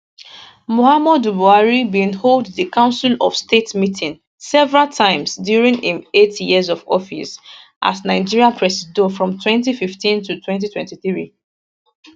muhammadu buhari bin hold di council of state meeting several times during im eight years for office as nigeria presido from 2015 to 2023